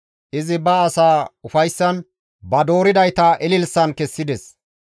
Izi ba asaa ufayssan, ba dooridayta ililisan kessides.